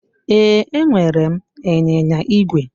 Ee, enwere m ịnyịnya igwe.